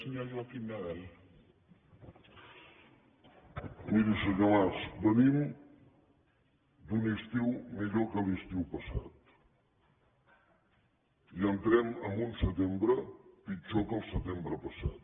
miri senyor mas venim d’un estiu millor que l’estiu passat i entrem en un setembre pitjor que el setembre passat